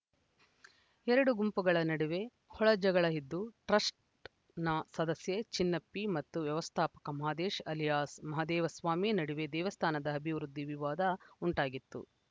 ಎರಡು ಗುಂಪುಗಳ ನಡುವೆ ಒಳಜಗಳ ಇದ್ದು ಟ್ರಸ್ಟ್‌ನ ಸದಸ್ಯ ಚಿನ್ನಪ್ಪಿ ಮತ್ತು ವ್ಯವಸ್ಧಾಪಕ ಮಾದೇಶ್‌ ಅಲಿಯಾಸ್‌ ಮಹದೇವಸ್ವಾಮಿ ನಡುವೆ ದೇವಸ್ಧಾನದ ಅಭಿವೃದ್ಧಿ ವಿವಾದ ಉಂಟಾಗಿತ್ತು